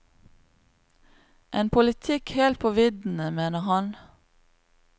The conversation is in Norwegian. En politikk helt på viddene, mener han.